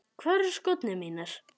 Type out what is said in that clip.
Hvar eru skórnir mínir?